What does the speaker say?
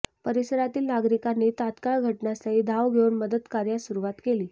परिसरातील नागरिकांनी तात्काळ घटनास्थळी धाव घेऊन मदतकार्यास सुरुवात केली